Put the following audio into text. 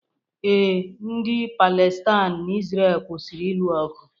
Ee, ndị Palestain na Izrel kwụsịrị ịlụ ọgụ